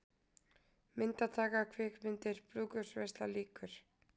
MYNDATAKA, KVIKMYNDIR, BRÚÐKAUPSVEISLA LÝKUR